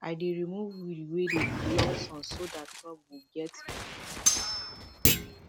i dey remove weed wey dey block sun so that crop go get better sunlight every morning